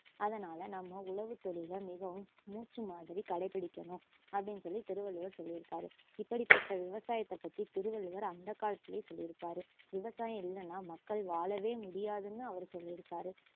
அதனால நம்ம உழவுத்தொழில மிகவும் மூச்சு மாதிரி கடைப்பிடிக்கணும் அப்படின்னு சொல்லி திருவள்ளுவர் சொல்லியிருக்கரு இப்படிப்பட்ட விவசாயத்தை பத்தி திருவள்ளுவர் அந்த காலத்துலேயே சொல்லியிருக்கரு விவசாயம் இல்லன்னா மக்கள் வாழவே முடியாதுன்னு அவரு சொல்லியிருக்காரு